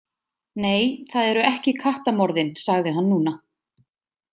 Nei, það eru ekki kattamorðin, sagði hann núna.